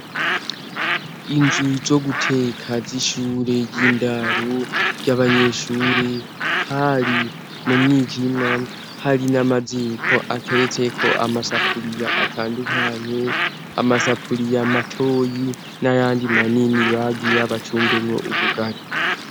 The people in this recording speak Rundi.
inzu zo guteka z'ishure ry'indaro ry'abanyeshure hari mu mwijima hari n'amaziko ateretse ko amasapuliya atandukanye amasapuliya matoyi n'ayandi manini bagira bacumbenwe ubugali